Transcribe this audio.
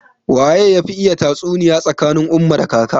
Waye yafi iya tatsuniya tsakanin umma da kaka?